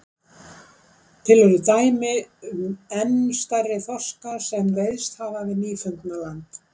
Til eru dæmi um enn stærri þorska sem veiðst hafa við Nýfundnaland.